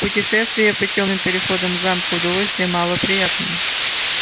путешествие по тёмным переходам замка удовольствие мало приятное